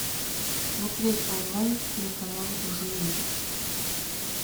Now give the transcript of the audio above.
смотреть онлайн телеканал живи